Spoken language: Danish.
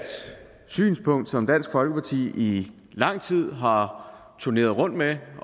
synspunkt som dansk folkeparti i lang tid har turneret rundt med